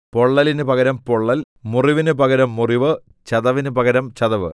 പൊള്ളലിന് പകരം പൊള്ളൽ മുറിവിന് പകരം മുറിവ് ചതവിന് പകരം ചതവ്